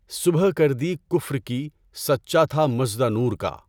صبح کر دی کفر کی سچا تھا مژدہ نور کا